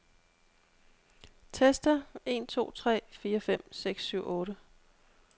Tester en to tre fire fem seks syv otte.